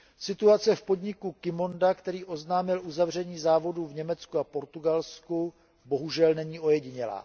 Situace v podniku Qimonda, který oznámil uzavření závodu v Německu a v Portugalsku, bohužel není ojedinělá.